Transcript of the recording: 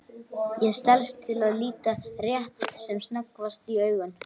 Ég stelst til að líta rétt sem snöggvast í augun.